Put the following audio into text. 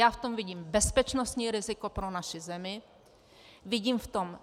Já v tom vidím bezpečnostní riziko pro naši zemi, vidím v tom